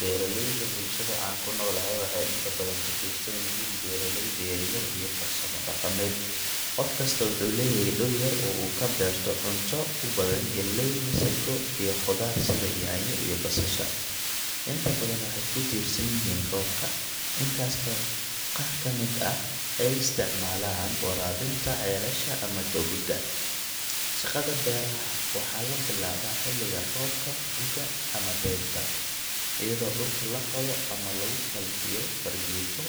Beeralayda bulshada aan ku noolahay waxay inta badan ku tiirsan yihiin beeraleyda yaryar iyo farsamo dhaqameed. Qof kasta wuxuu leeyahay dhul yar oo uu ka beerto cunto u badan galley, masaggo, iyo khudaar sida yaanyo iyo basasha. Inta badan waxay ku tiirsan yihiin roobka, inkastoo qaar ka mid ah ay isticmaalaan waraabinta ceelasha ama togagga. Shaqada beeraha waxaa la bilaabaa xilliga roobka guga ama dayrta, iyadoo dhulka la qodo ama lagu falkiyo fargeeto